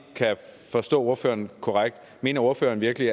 forstå ordføreren korrekt mener ordføreren virkelig